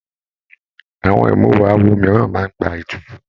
Àwọn imuwọ̀ awo mìíràn máa n gbà ètùtù.